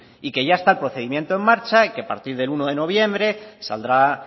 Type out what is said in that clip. y que ya está el procedimiento en marcha y que a partir del uno de noviembre saldrá